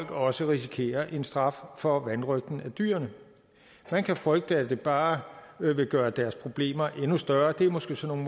også risikerer en straf for vanrøgt af dyrene man kan frygte at det bare vil gøre deres problemer endnu større det er måske sådan